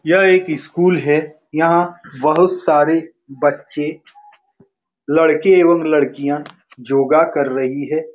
यह एक स्कूल है यहाँ बहुत सारे बच्चे लड़के एवं लड़किया जोगा कर रही है।